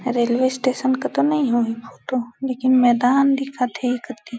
railway station का तो नहीं हो फोटो लेकिन मैदान दिखाते --